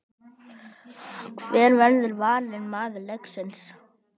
Hver verður valinn maður leiksins?